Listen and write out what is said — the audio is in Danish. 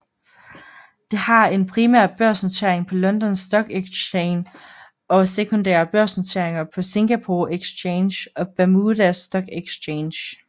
Det har en en primær børsnotering på London Stock Exchange og sekundære børsnoteringer på Singapore Exchange og Bermuda Stock Exchange